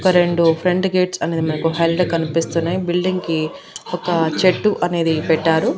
ఒక రెండు front gates అనేవి మనకు కళ్ళకు కనిపిస్తున్నాయి బిల్డింగ్ కి ఒక చెట్టు అనేది పెట్టారు.